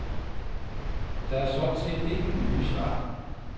Der er sådan set ikke nye svar.